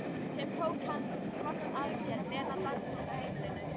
Sem tók hann loks að sér, Lena dansarinn á heimilinu.